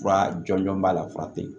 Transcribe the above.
Fura jɔnjɔn b'a la fura tɛ ye